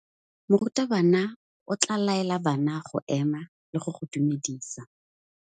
Morutabana o tla laela bana go ema le go go dumedisa.